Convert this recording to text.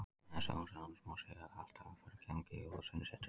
Við þessi orð hans má segja að allt hafi farið í gang á Jólasveinasetrinu.